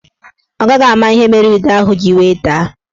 Ọ gaghị ama ihe mere ide ahụ ji wee daa.